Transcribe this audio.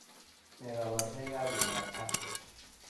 Nee kabarunoikab Miandoab Ascher?